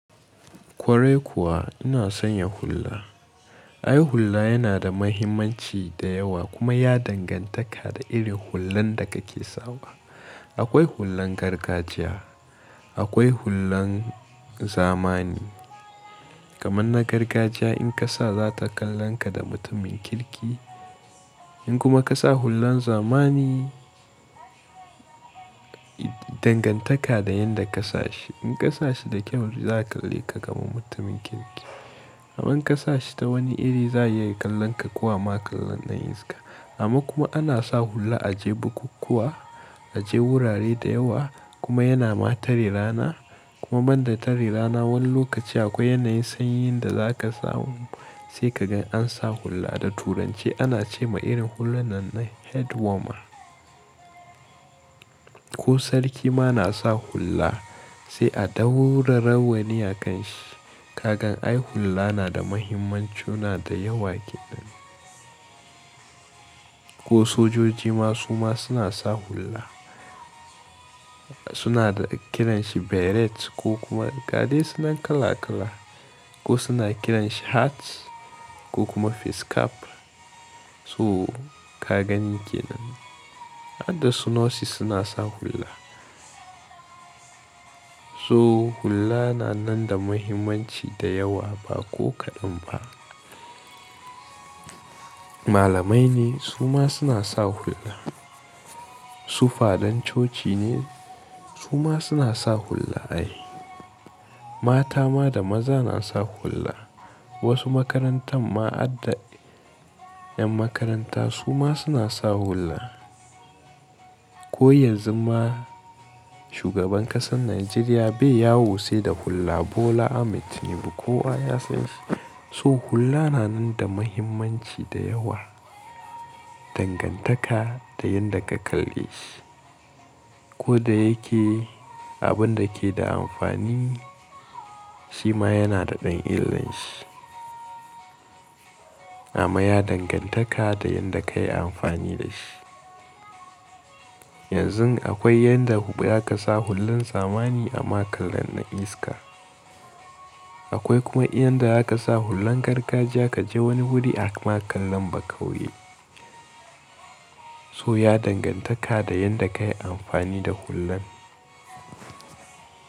Kwarai kuwa ina son yin hulla. Ai hulla yana da mahimmanci da yawa kuma ya dangantaka da irin hullan da kake sawa. Akwai hullan gargajiya, akwai hullan zamani. Kamanna gargajiya in ka sa za ta kalanka da mutumin kirki. In kuma ka sa hullan zamani, dangantaka da yanda ka sa shi. In ka sa shi da kyau za a kalle ka kamar mutumin kirki. Amma in ka sa shi ta wani iri za ya iya kalanka kuwa ma kallon ɗan iska. Amma kuma ana sa hulla a je bukukkuwa, a je wurare da yawa kuma yana ma tare rana. Kuma banda tare rana wani lokaci akwai yanayin sanyi yanda za ka samu sai ka gan an sa hulla. Da turanci ana ce ma irin hulluna nan head warmer. Ko sarki ma na sa hulla sai a dahu rawanin a kan shi. Ka gan ai hulla na da mahimmancuna da yawa ke nan. Ko sojoji ma su ma suna sa hulla. Suna kiran shi beret ko kuma gade suna kala kala. Ko suna kiran shi hats ko kuma face cap. So ka gani ke nan. Adasunosis suna sa hulla. So hulla na nan da mahimmanci da yawa ba ko kaɗan ba. Malamai ne su ma suna sa hulla. Sufadan coci ne su ma suna sa hulla ai. Mata ma da maza na sa hulla. Wasu makarantan ma adde yan makaranta su ma suna sa hulla. Ko yanzu ma shugaban kasar Najeriya bai yawo sai da hulla Bola Ahmed Tinubu kowa ya san shi. So hulla na nan da mahimmanci da yawa, dangantaka da yanda ka kalle shi. Ko da yake abun da ke da amfani shi ma yana da ɗan illanshi. Amma ya dangantaka da yanda ka yi amfani da shi. Yanzu akwai yanda za ka sa hullun zamani a ma kallon ɗan iska. Akwai kuma inda za ka sa hullun gargajiya ka je wani wuri a ma kalla ba ka wuye. So ya dangantaka da yanda ka yi amfani da hullan.